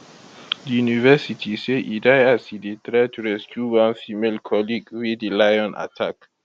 di university say e die as e dey try to rescue one female colleague wey di lion attack